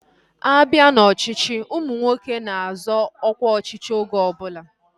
A bịa n'ọchịchị, ụmụ nwoke na-azọ ọkwa ọchịchị oge ọbụla